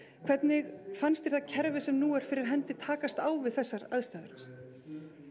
hvernig fannst þér það kerfi sem nú er fyrir hendi takast á við þessar aðstæður